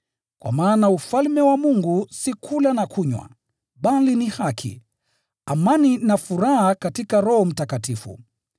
Kwa maana Ufalme wa Mungu si kula na kunywa, bali ni haki, amani na furaha katika Roho Mtakatifu.